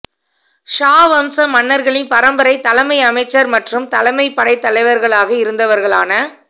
ஷா வம்ச மன்னர்களின் பரம்பரை தலைமை அமைச்சர் மற்றும் தலைமைப் படைத்தலைவர்களாக இருந்தவர்களான